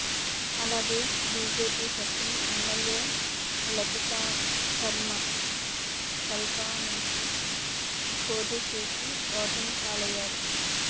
అలాగే BJP sitting MLA Latika Sharma కల్కా నుంచి పోటీ చేసి ఓటమి పాలయ్యారు